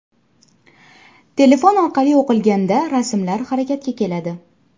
Telefon orqali o‘qilganda rasmlar harakatga keladi.